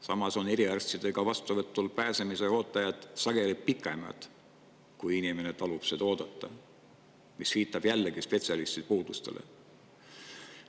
Samas on eriarstide vastuvõtule pääsemise ooteajad sageli pikemad, kui inimene talub oodata, mis viitab jällegi spetsialistide puudusele.